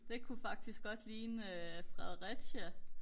det kunne faktisk godt ligne øh Fredericia